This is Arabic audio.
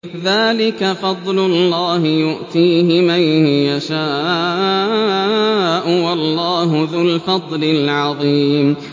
ذَٰلِكَ فَضْلُ اللَّهِ يُؤْتِيهِ مَن يَشَاءُ ۚ وَاللَّهُ ذُو الْفَضْلِ الْعَظِيمِ